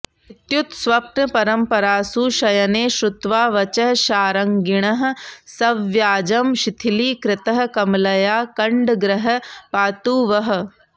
इत्युत्स्वप्नपरम्परासु शयने श्रुत्वा वचः शार्ङ्गिणः सव्याजं शिथिलीकृतः कमलया कण्डग्रहः पातु वः